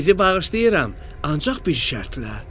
Sizi bağışlayıram, ancaq bir şərtlə.”